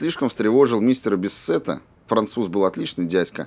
слишком встревожил мистера биссета француз был отличный дядька